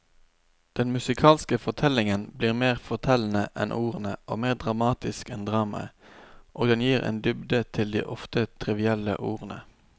Den musikalske fortellingen blir mer fortellende enn ordene og mer dramatisk enn dramaet, og den gir en dybde til de ofte trivielle ordene.